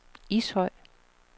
Ishøj